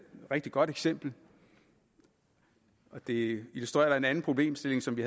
rigtig godt eksempel og det illustrerer en anden problemstilling som vi